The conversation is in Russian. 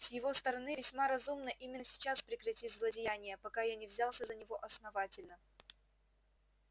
с его стороны весьма разумно именно сейчас прекратить злодеяния пока я не взялся за него основательно